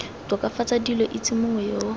tokafatsa dilo itse mongwe yo